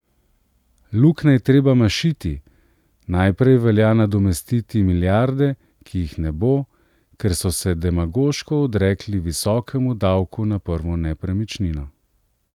Luknje je treba mašiti, najprej velja nadomestiti milijarde, ki jih ne bo, ker so se demagoško odrekli visokemu davku na prvo nepremičnino.